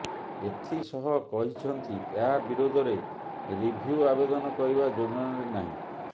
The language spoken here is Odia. ଏଥିସହ କହିଛନ୍ତି ଏହା ବିରୋଧରେ ରିଭ୍ୟୁ ଆବେଦନ କରିବା ଯୋଜନାରେ ନାହିଁ